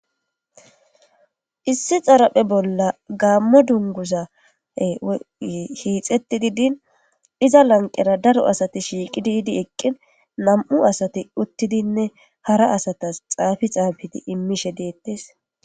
Issi xaraphe bolla gaammo dunguza hiixeti didin iza lanqera daro asati shiiqi diidi eqqin nam7u asati uttidinne hara asatas xaafi xaabidi immishe deettes.